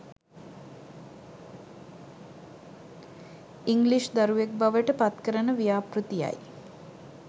English දරුවෙක් බවට පත්කරන ව්‍යාපෘතියයි.